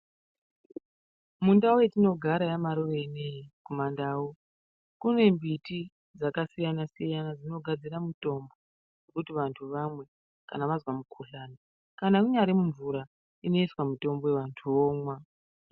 Mundau yatinogara yaMarure ineyi kumandau, kune mbiti dzakasiyana-siyana dzinogadzira mitombo, kuti vantu vamwe vazwa mikhuhlani. Kana munyari mumvura ,inoiswa mitombo vantu vomwa.